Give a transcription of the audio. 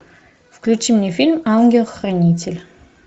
включи мне фильм ангел хранитель